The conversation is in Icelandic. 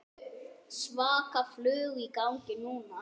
Svaka flug í gangi núna.